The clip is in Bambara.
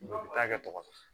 Dɔn ta kɛ tɔgɔ di